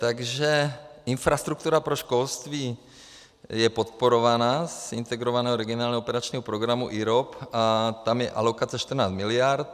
Takže infrastruktura pro školství je podporovaná z Integrovaného regionálního operačního programu, IROP, a tam je alokace 14 miliard.